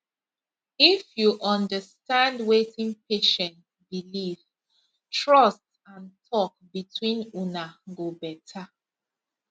if you understand wetin patient believe trust and talk between una go better